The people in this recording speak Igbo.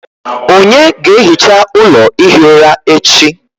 Ònye ga-ehicha ụlọ ihi ụra echi?